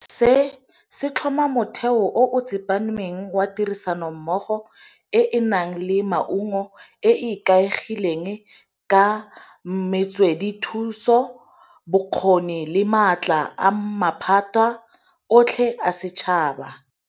Se se tlhoma motheo o o tsepameng wa tirisanommogo e e nang le maungo, e e ikaegileng ka metswedithuso, bokgoni le maatla a maphata otlhe a setšhaba.